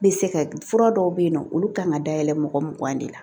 N bɛ se ka fura dɔw bɛ yen nɔ olu kan ka dayɛlɛ mɔgɔ mugan de la